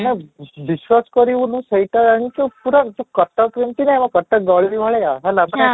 ମାନେ ବିଶ୍ୱାସ କରିବୁନୁ ସେଇଟା ଜାଣିଛୁ ପୁରା ଯଉ କଟକ ଯେମିତି ନାହିଁ ନା କଟକ ଯଉ ଗଳି ଭଳିଆ ହେଲା